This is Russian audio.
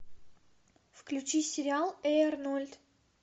включи сериал эй арнольд